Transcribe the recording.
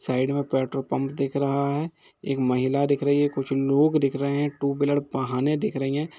Side में petrol pump दिख रहा है। एक महिला दिख रही है कुछ लोग दिख रहे हैं टू व्हीलर वाहनें दिख रही हैं।